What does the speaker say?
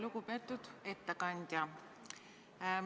Lugupeetud ettekandja!